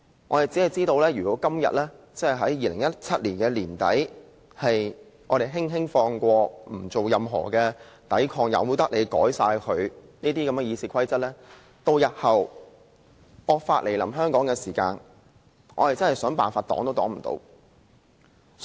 我只知道如果我們在2017年年底的今天輕輕放過這件事，不作任何抵抗，任由他們修改《議事規則》，日後當惡法來臨香港時，我們便真的想抵擋也抵擋不了。